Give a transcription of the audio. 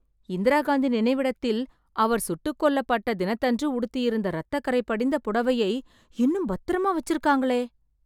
இந்திரா காந்தி நினைவிடத்தில், அவர் சுட்டுக் கொல்லப்பட்ட தினத்தன்று உடுத்தியிருந்த ரத்தக்கறை படிந்த புடைவையை இன்னும் பத்திரமா வெச்சிருக்காங்களே...